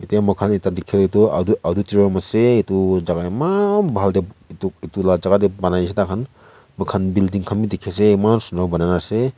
ete moi khan ekta dikhi la tu auditorium ase etu jaka eman bal te etu etu la jaka te banai dishey tai khan moi khan building khan bi dikhi ase eman sunder banai ne ase.